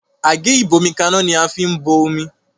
Àgé ìgbómikaná ní a fín bó omí